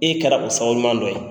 E kɛra o sababuɲuman dɔ ye.